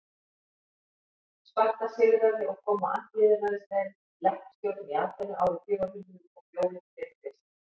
sparta sigraði og kom á andlýðræðislegri leppstjórn í aþenu árið fjögur hundruð og fjórir fyrir krist